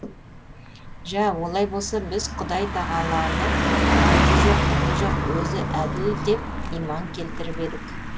жә олай болса біз құдай тағаланы айыбы жоқ міні жоқ өзі әділ деп иман келтіріп едік